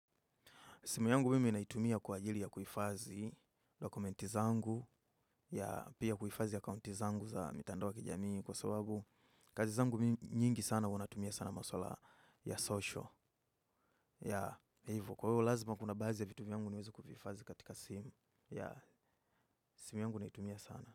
Simu yangu mimi naitumia kwa ajili ya kuifazi dokumenti zangu pia kuifazi akaunti zangu ya mitandao ya kijamii kwa sababu kazi zangu mingi sana huwa natumia maswala ya social ya ivo kwa huo lazima kuna bazi ya vitumi yangu niwezo kufifazi katika simu ya simu yangu naitumia sana.